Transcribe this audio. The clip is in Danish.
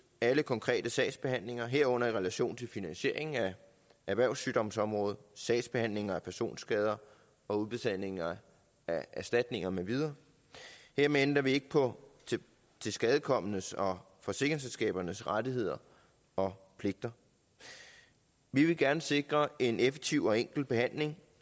alle konkrete sagsbehandlinger herunder i relation til finansieringen af erhvervssygdomsområdet sagsbehandlinger af personskader og udbetalinger af erstatninger med videre hermed ændrer vi ikke på tilskadekomnes og forsikringsselskabernes rettigheder og pligter vi vil gerne sikre en effektiv og enkel behandling